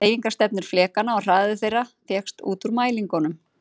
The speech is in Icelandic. Hreyfingarstefnur flekanna og hraði þeirra fékkst út úr mælingunum.